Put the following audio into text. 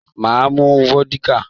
Mà á mu vódíkà.